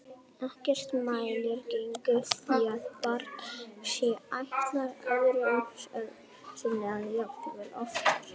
Ekkert mælir gegn því að barn sé ættleitt öðru sinni eða jafnvel oftar.